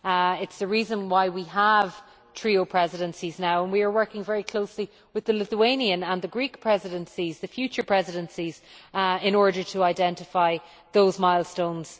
It is the reason why we have trio Presidencies now. We are working very closely with the Lithuanian and the Greek Presidencies the future Presidencies in order to identify those milestones.